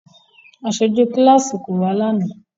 Aṣoju kilasi ko wa lánà.